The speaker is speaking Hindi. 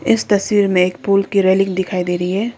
इस तस्वीर में एक पुल की रेलिंग दिखाई दे रही है।